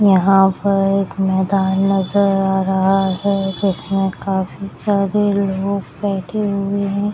यहाँ पर एक मैदान नजर आ रहा है जिसमे काफी सारे लोग बैठे हुए है।